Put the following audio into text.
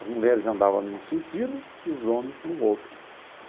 As mulheres andava num sentido e os homens num outro.